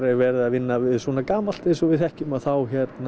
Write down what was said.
verið að vinna við svona gamalt eins og við þekkjum að þá